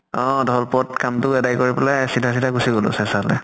অ ঢ্ৱল্পুৰত কাম টো আদাই কৰি পালে চিধা চিধা গুছি গলো চেচা লে।